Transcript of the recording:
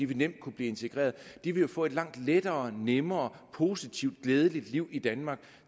vil kunne blive integreret vil jo få et langt lettere nemmere positivt og glædeligere liv i danmark